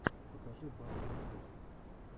покажи батл ютюб